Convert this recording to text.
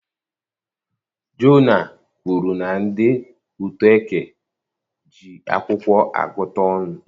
Jona kwuru na ndị Utoeke ji akwụkwọ agụta ọnụ